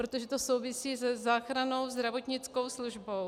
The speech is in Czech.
Protože to souvisí se záchrannou zdravotnickou službou.